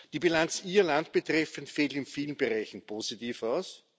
Die Bilanz Ihr Land betreffend fällt in vielen Bereichen positiv aus.